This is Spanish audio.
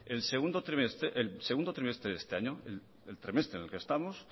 el segundo trimestre de este año el trimestre en el que estamos